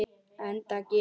Enda gerir